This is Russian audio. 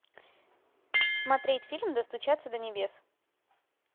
смотреть фильм достучаться до небес